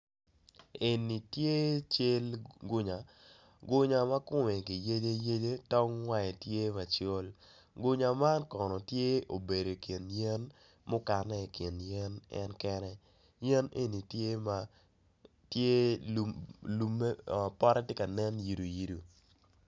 Eni tye cal gunya gunya makome giyeceyece tong wange tye macol gunya man kono tye obedo i kin yen mukane i kin yen en kene yen eni tye ma pote tye ka nen yito yito.